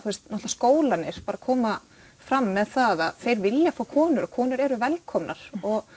skólarnir að koma fram með það að þeir vilja fá konur og konur eru velkomnar